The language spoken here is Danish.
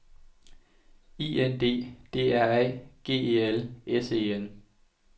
I N D D R A G E L S E N